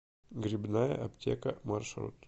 грибная аптека маршрут